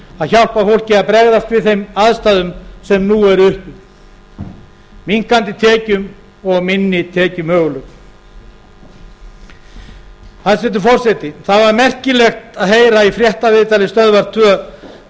að hjálpa fólki að bregðast við þeim aðstæðum sem nú eru uppi minnkandi tekjum og minni tekjumöguleikum hæstvirtur forseti það var merkilegt að heyra í fréttaviðtali stöðvar tvö